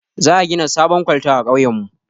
Za a gina sabon kwalta a kauyen mu